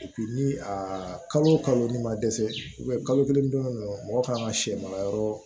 ni a kalo kalo n'i ma dɛsɛ kalo kelen dɔrɔn mɔgɔ kan ka sɛ mara yɔrɔ